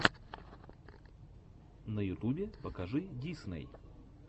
на ютубе покажи дисней